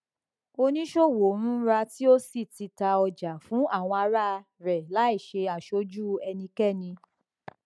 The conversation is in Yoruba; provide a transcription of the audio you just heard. oníṣòwò ń rà tí ó sì ń tà ọjà fún ara rẹ láìṣe aṣojú ẹnikẹni